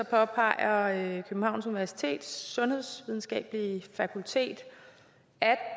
påpeger københavns universitets sundhedsvidenskabelige fakultet at